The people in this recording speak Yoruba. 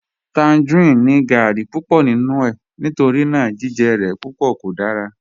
Tangerine ni gáarí púpọ̀ nínu è nítorína jìjẹ rẹ̀ púpọ̀ kò dára